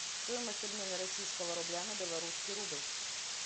стоимость обмена российского рубля на белорусский рубль